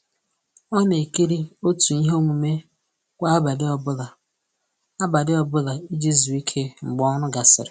Ọ na ekiri otu ihe omume kwa abalị ọ bụla abalị ọ bụla iji zuo ike mgbe ọrụ gasịrị